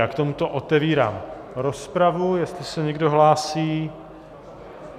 Já k tomuto otevírám rozpravu, jestli se někdo hlásí.